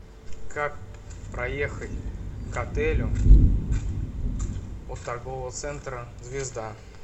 как проехать к отелю от торгового центра звезда